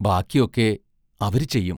ബാക്കിയൊക്കെ അവരു ചെയ്യും.